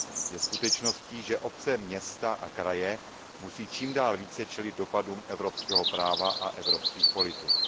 Je skutečností, že obce, města a kraje musí čím dál více čelit dopadům evropského práva a evropských politik.